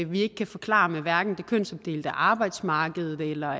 vi ikke kan forklare med hverken det kønsopdelte arbejdsmarked eller